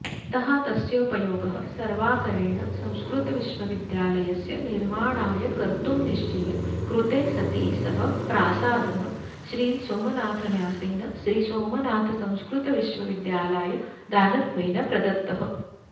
अतः तस्योपयोगः सर्वाकरेण संस्कृतविश्वविद्यालस्य निर्माणाय कर्तुं निश्चये कृते सति सः प्रासादः श्रीसोमनाथन्यासेन श्रीसोमनाथसंस्कृतविश्वविद्यालाय दानत्वेन प्रदत्तः